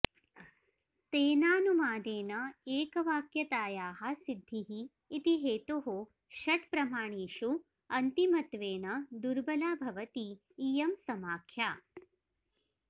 तेनानुमानेन एकवाक्यतायाः सिद्धिः इति हेतोः षट् प्रमाणेषु अन्तिमत्वेन दुर्बला भवति इयं समाख्या